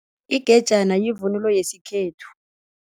Igejana yivunulo yesikhethu.